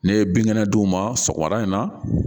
Ne ye bin kɛnɛ dun ma sɔgɔmada in na